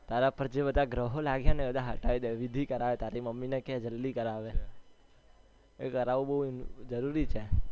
તારા પર જે બધા ગ્રહો લાગ્યા એ બધા હટાઈ દે વિધિ કરાવે તારી mummy ને કે જલ્દી કરાવે એ કરવું બૌ જલ્દી છે.